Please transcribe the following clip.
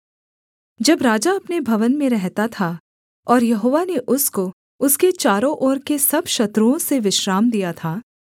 जब राजा अपने भवन में रहता था और यहोवा ने उसको उसके चारों ओर के सब शत्रुओं से विश्राम दिया था